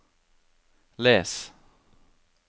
les